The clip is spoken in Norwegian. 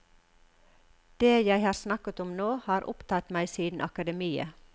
Det jeg har snakket om nå, har opptatt meg siden akademiet.